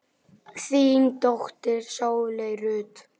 Þín dóttir, Sóley Rut.